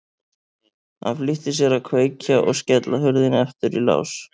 Hann flýtti sér að kveikja og skella hurðinni aftur í lás.